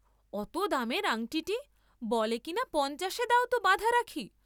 অত দামের আংটিটী বলে কি না পঞ্চাশে দাও ত বাঁধা রাখি।